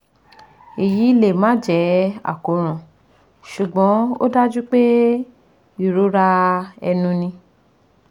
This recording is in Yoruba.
Eyi le ma je akoran sugbon o daju pe irora enu ni